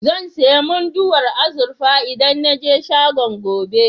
Zan sayi Munduwar azurfa idan na je shagon, gobe.